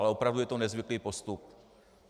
Ale opravdu je to nezvyklý postup.